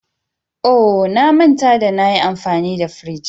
Oh! Na manta da na yi amfani da firij.